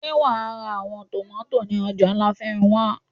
Ṣe iwọ yóò ra awọn tomati ni ọja lafenwa?